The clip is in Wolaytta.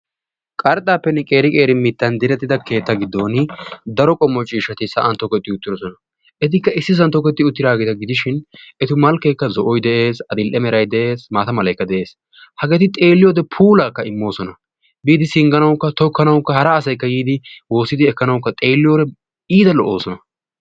qarxaappene qeeri qeeri mitaappe direttida dirsa gidooni daro qommo ciishshati sa'an tokettidosona. etikka issisan tokketi uttidaageeta gidishin, etu malkeekka zo'oy dees, adil'e malay dees, maata malay dees. hageeti xeeliyode puulaaka immoosona. biidi sibganawukka tokkanawukka hara asay be'idi ekanawukka iita lo'oosona.